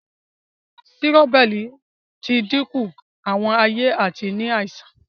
Sírọ́bẹ́rì ti dínkù Àwọn aye àti ní àìsàn